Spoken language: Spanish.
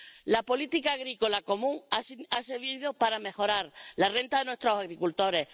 La política agrícola común ha servido para mejorar la renta de nuestros agricultores